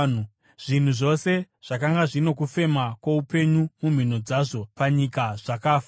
Zvinhu zvose zvakanga zvino kufema kwoupenyu mumhino dzazvo panyika zvakafa.